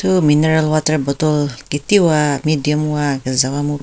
Thu mineral water bottle ketiwa medium wa kezewa mu .